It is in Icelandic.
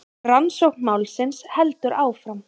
Rannsókn málsins heldur áfram